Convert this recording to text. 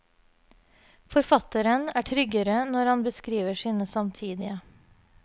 Forfatteren er tryggere når han beskriver sine samtidige.